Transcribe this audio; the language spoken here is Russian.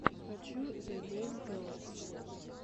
хочу зе гейм теористс